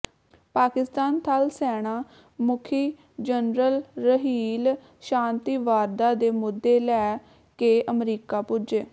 ਪਾਕਿਸਤਾਨ ਥਲ ਸੈਨਾ ਮੁਖੀ ਜਨਰਲ ਰਹੀਲ ਸ਼ਾਂਤੀ ਵਾਰਤਾ ਦੇ ਮੁੱਦੇ ਲੈ ਕੇ ਅਮਰੀਕਾ ਪੁੱਜੇ